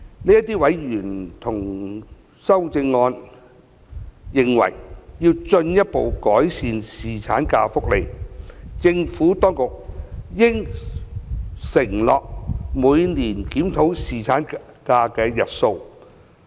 這些委員同意修正案，認為要進一步改善侍產假福利，政府當局應承諾每年檢討侍產假日數。